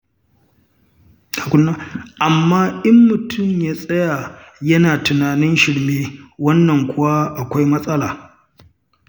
Amma in mutum ya tsaya yana ta tunanin shirme, wannan kuwa akwai matsala.